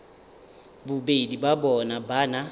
bobedi bja bona ba na